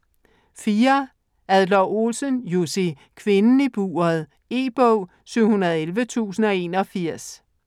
Adler-Olsen, Jussi: Kvinden i buret E-bog 711081